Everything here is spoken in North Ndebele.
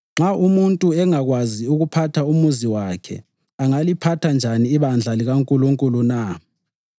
(Nxa umuntu engakwazi ukuphatha umuzi wakhe angaliphatha njani ibandla likaNkulunkulu na?)